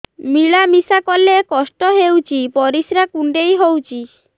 ମିଳା ମିଶା କଲେ କଷ୍ଟ ହେଉଚି ପରିସ୍ରା କୁଣ୍ଡେଇ ହଉଚି